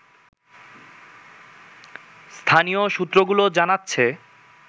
স্থানীয় সূত্রগুলো জানাচ্ছে